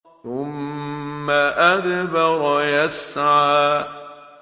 ثُمَّ أَدْبَرَ يَسْعَىٰ